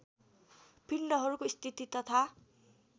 पिण्डहरूको स्थिति तथा